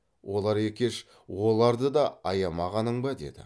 олар екеш оларды да аямағаның ба деді